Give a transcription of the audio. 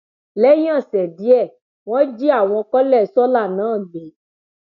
lẹyìn ọsẹ díẹ wọn jí àwọn kọlẹ sọla náà gbé